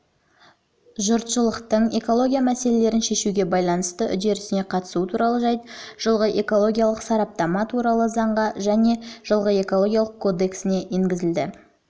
жұртшылықтың экология мәселелерін шешуге байланысты үрдісіне қатысуы туралы жайт жылғы экологиялық сараптама туралы заңға және жылғы экологиялық кодекске енгізілді